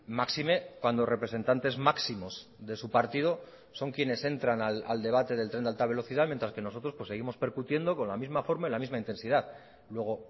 máxime cuando representantes máximos de su partido son quienes entran al debate del tren de alta velocidad mientras que nosotros seguimos percutiendo con la misma forma y la misma intensidad luego